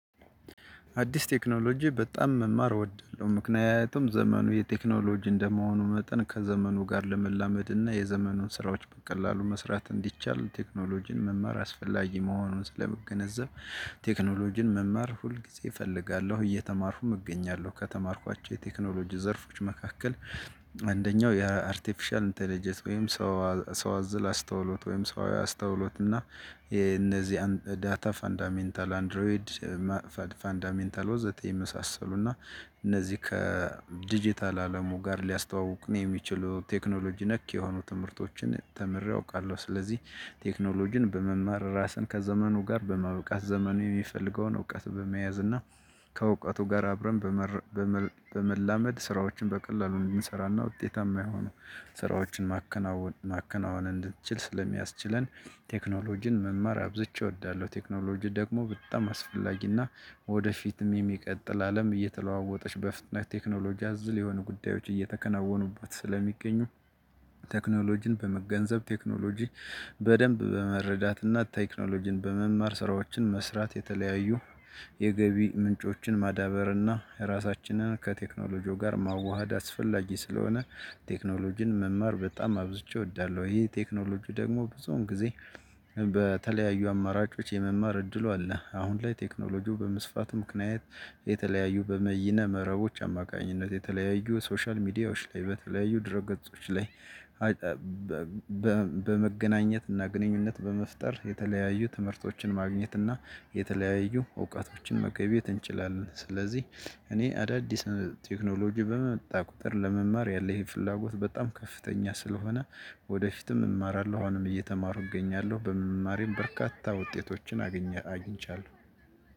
አዲስ ቴክኖሎጂ በጣም መማር እወዳለሁ ምክንያቱም ዘመኑ የቴክኖሎጂ እንደመሆኑ መጠን ከዘመኑ ለመላመድ እና የዘመኑን ስራዎች በቀላሉ መስራት እንዲቻል ቴክኖሎጂን መማር አስፈላጊ መሆኑን ስለመገነዘብ ቴክኖሎጂን መማር ሁል ጊዜ እፈልጋለሁ እየተማርኩም እገኛለሁ። ከተማርኳቸው የቴክኖሎጂ ዘርፎች መካከል። አንደኛው የአርቴፊሻል ኢንተለጀት ወይም ሰው ሰው አዝል አስተውሎት ወይም ሰው አስተውሎት እና የነዚህ ዳታ ፈንዳሜንታል አንድሮይድ ፈንዳሜንታል ወዘተ የመሳሰሉ እና እነዚህ ከዲጂታል አለሙ ጋር ሊያስተዋውቁን የሚችለው ቴክኖሎጂ ነክ የሆኑ ትምህርቶችን ተምሬ አውቃለሁ። ስለዚህ ቴክኖሎጂን በመማር ራስን ከዘመኑ ጋር በመብቃት ዘመኑ የሚፈልገውን እውቀት በመያዝ እና ከእውቀቱ ጋር አብረን በመላመድ ስራዎችን በቀላሉ እንድንሰራና ውጤታማ የሆኑ ስራዎችን ማከናወን ማከናወን እንድትችል ስለሚያስችለን ቴክኖሎጂን መማር አብዝቼ እወዳለሁ። ቴክኖሎጂ ደግሞ በጣም አስፈላጊና ወደፊትም የሚቀጥል አለም እየተለዋወጠች በፍጥነት ቴክኖሎጂ አዘል የሆኑ ጉዳዮች እየተከናወኑባት ስለሚገኙ። ቴክኖሎጂን በመገንዘብ ቴክኖሎጂ በደንብ በመረዳትና ቴክኖሎጂን በመማር ስራዎችን መስራት የተለያዩ የገቢ ምንጮችን ማዳበር እና ራሳችንን ከቴክኖሎጂው ጋር ማዋሃድ አስፈላጊ ስለሆነ። ቴክኖሎጂን መማር በጣም አብዝቼ እወዳለሁ። ይሄ ቴክኖሎጂ ደግሞ ብዙውን ጊዜ በተለያዩ አማራጮች የመማር እድሉ አለ። አሁን ላይ ቴክኖሎጂው በመስፋቱ ምክንያት የተለያዩ በመይነ መረቦች አማካኝነት የተለያዩ ሶሻል ሚዲያዎች ላይ በተለያዩ ድር ገጾች ላይ በመገናኘት እና ግንኙነት በመፍጠር የተለያዩ ትምህርቶችን ማግኘት እና የተለያዩ እውቀቶችን መገብየት እንችላለን። ስለዚህ እኔ አዳዲስ ቴክኖሎጂ በመጣ ቁጥር ለመማር ያለህን ፍላጎት በጣም ከፍተኛ ስለሆነ ወደፊትም እማራለሁ አሁንም እየተማሩ እገኛለሁ በመማሬም በርካታ ውጤቶችን አግኝቻለሁ።